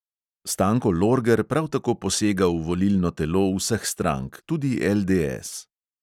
Stanko lorger prav tako posega v volilno telo vseh strank, tudi LDS.